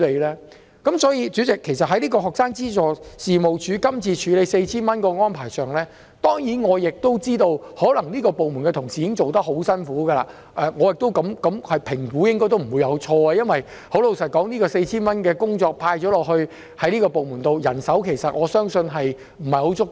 所以，代理主席，其實在在職家庭及學生資助事務處今次處理派發 4,000 元的安排上——當然我亦都知道，可能這個部門的同事已經做得很辛苦，而我的評估亦應該不會錯——老實說，這項派發 4,000 元的工作交給這個部門，我相信人手不太足夠。